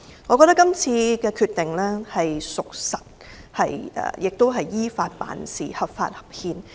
我認為這次的決定有真憑實據，亦是依法辦事，合法合憲。